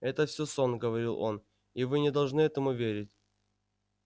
это всё сон говорил он и вы не должны этому верить